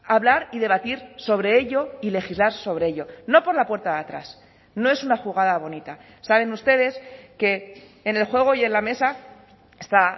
hablar y debatir sobre ello y legislar sobre ello no por la puerta de atrás no es una jugada bonita saben ustedes que en el juego y en la mesa está